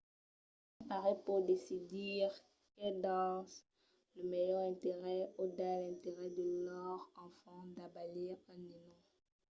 un parelh pòt decidir qu’es pas dins lor melhor interès o dins l’interès de lor enfant d'abalir un nenon